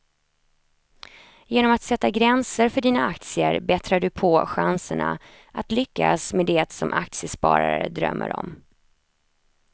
Genom att sätta gränser för dina aktier bättrar du på chanserna att lyckas med det som aktiesparare drömmer om.